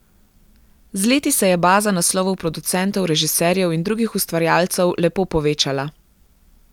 Z leti se je baza naslovov producentov, režiserjev in drugih ustvarjalcev lepo povečala.